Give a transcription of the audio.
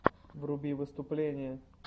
вруби выступления